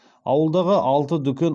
ауылдағы алты дүкен